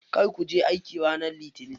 Kar kuje aiki ranar litinin.